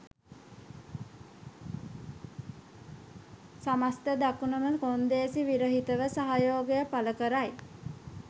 සමස්ථ දකුණම කොන්දේසි විරහිතව සහයෝගය පළකරයි